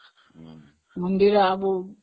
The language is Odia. ମନ୍ଦିର